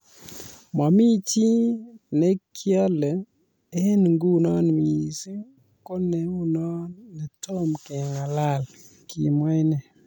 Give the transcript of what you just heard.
"Mamii chii ne keale eng nguno missing ko ne unoo netomo keng'alal",kimwa inne.